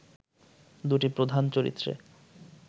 দুটি প্রধান চরিত্রে